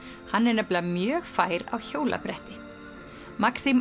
hann er nefnilega mjög fær á hjólabretti